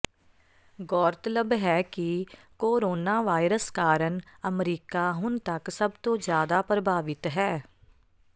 ਗੌਰਤਲਬ ਹੈ ਕਿ ਕੋਰੋਨਾਵਾਇਰਸ ਕਾਰਨ ਅਮਰੀਕਾ ਹੁਣ ਤੱਕ ਸਭ ਤੋਂ ਜ਼ਿਆਦਾ ਪ੍ਰਭਾਵਿਤ ਹੈ